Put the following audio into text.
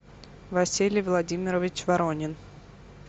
василий владимирович воронин